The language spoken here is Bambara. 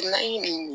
Na